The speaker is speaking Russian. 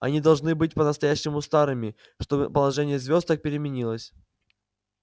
они должны быть по-настоящему старыми чтобы положение звёзд так переменилось